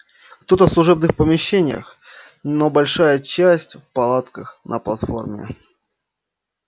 кто-то в служебных помещениях но большая часть в палатках на платформе